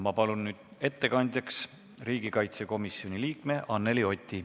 Ma palun nüüd ettekandjaks riigikaitsekomisjoni liikme Anneli Oti.